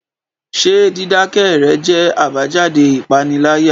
Ṣé dídákẹ́ rẹ jẹ́ àbájáde ìpániláyà?